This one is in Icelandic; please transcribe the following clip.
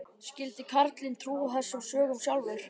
Skyldi karlinn trúa þessum sögum sjálfur?